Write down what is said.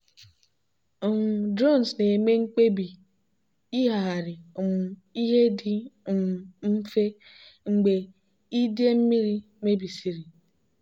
um drones na-eme mkpebi ịghagharị um ihe dị um mfe mgbe idei mmiri mebisịrị.